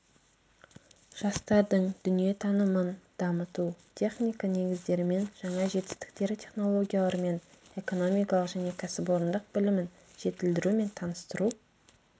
жастардың дүниетанымын дамыту техника негіздерімен жаңа жетістіктер технологияларымен экономикалық және кәсіпорындық білімін жетілдіру мен таныстыру